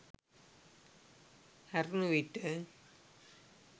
හැරුණු විට